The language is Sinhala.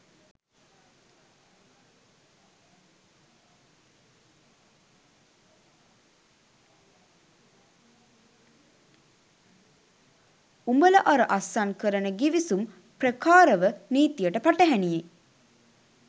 උඹල අර අස්සන් කරන ගිවිසුම් ප්‍රකාරව නීතියට පටහැනියි